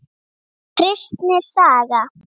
Kristni saga.